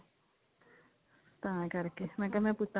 ਤਾਂ ਕਰਕੇ ਮੈਂ ਕਿਹਾ ਮੈਂ ਪੁੱਛਾਂ